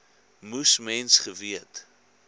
moes mens geweet